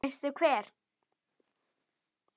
Veistu hver